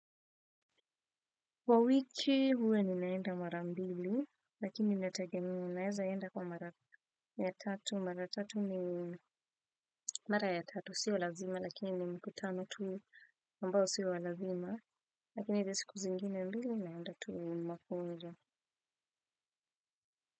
Kwa wiki huwa ninaenda mara mbili lakini natagemea naezaenda kwa mara ya tatu. Mara ya tatu ni mara ya tatu sio lazima lakini ni mkutano tu ambao si wa lazima lakini hizi siku zingine mbili naenda tu ni mafunzo.